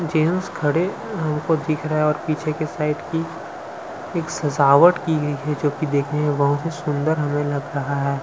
Gents खड़े हो जो की दिख रहा हैं और पीछे की साइड की एक सजावट की गई है जो की देखने में बहोत ही सुंदर हमें लग रहा है।